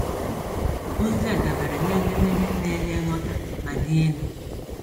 Ozi a dabere na edemede na-enye nghọta ma dị elu.